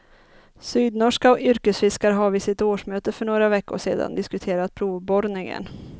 Sydnorska yrkesfiskare har vid sitt årsmöte för några veckor sedan diskuterat provborrningen.